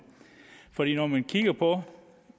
for når man kigger på